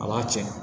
A b'a tiɲɛ